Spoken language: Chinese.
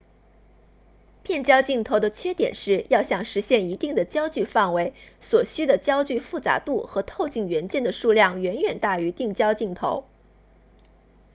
变焦镜头的缺点是要想实现一定的焦距范围所需的焦距复杂度和透镜元件的数量远远大于定焦镜头